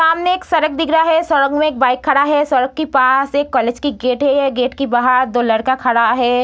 सामने एक सड़क दिख रहा है। सड़क में एक बाइक खड़ा है। सड़क के पास एक कॉलेज के गेट है। यह गेट के बाहर दो लड़का खड़ा है।